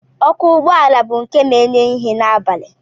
Ọkụ ụgbọala bụ nke na-enye ìhè n'abalị